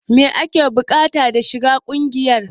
Me ake bukata da shiga kungiyar?